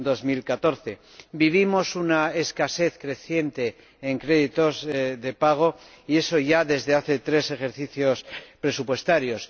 2014. Vivimos una escasez creciente de créditos de pago, y eso ya desde hace tres ejercicios presupuestarios.